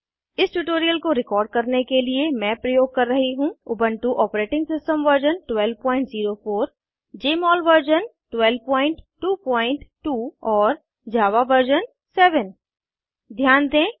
इस ट्यूटोरियल को रिकॉर्ड करने के लिए मैं प्रयोग कर रही हूँ160 Ubuntu operating system version 1204 Jmol version 1222 और जावा वर्जन 7 ध्यान दें